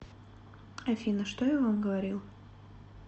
афина что я вам говорил